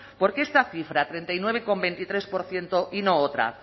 por qué esta cifra treinta y nueve coma veintitrés por ciento y no otra